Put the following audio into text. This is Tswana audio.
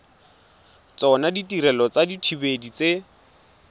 tsona ditirelo tsa dithibedi tse